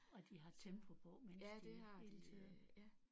Og de har tempo på mens de hele tiden